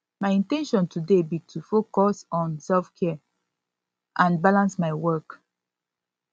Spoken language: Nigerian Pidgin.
my in ten tion today be to focus on selfcare and balance my work